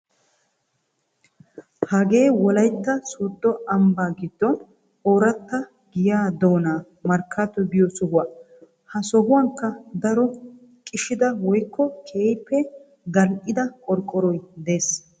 Hagee wollaytta sooddo ambba giddon oratta giyaa doonaa markaato giyoo sohuwaa. Ha sohuwaankka daro qishshida woykko keehippe gal"ida qorqoroy de'ees.